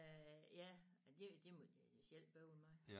Øh ja det det må de selv bøvle med